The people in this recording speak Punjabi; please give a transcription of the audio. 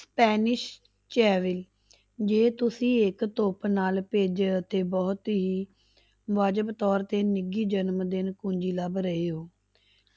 ਸਪੈਨਿਸ਼ ਜੇ ਤੁਸੀਂ ਇੱਕ ਧੁੱਪ ਨਾਲ ਭਿੱਜ ਅਤੇ ਬਹੁਤ ਹੀ ਵਾਜ਼ਬ ਤੌਰ ਤੇ ਨਿੱਘੀ ਜਨਮ ਦਿਨ ਕੁੰਜੀ ਲੱਭ ਰਹੇ ਹੋ